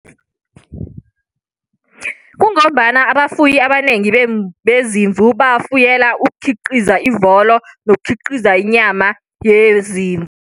Kungombana abafuyi abanengi bezimvu bafuyela ukukhiqiza ivolo, nokukhiqiza inyama yezimvu.